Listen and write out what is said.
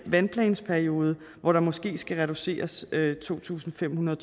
vandplansperiode hvor der måske skal reduceres med to tusind fem hundrede